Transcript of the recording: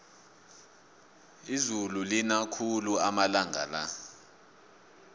izulu lina khulu amalanga la